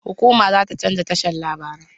Hukuma za ta canza tashan larabai.